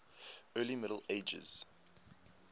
early middle ages